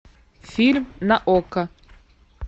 фильм на окко